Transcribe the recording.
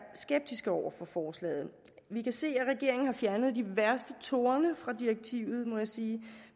skeptisk over for forslaget vi kan se at regeringen har fjernet de værste torne fra direktivet må jeg sige